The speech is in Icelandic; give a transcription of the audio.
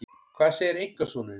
Hvað segir einkasonurinn?